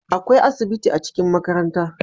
akwai asibiti a cikin makaranta